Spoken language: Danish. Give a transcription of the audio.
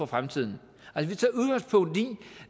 fremtiden